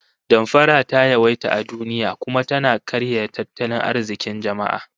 Damfara ta yawaita a duniya, kuma tana karya tattalin arzikin jama'a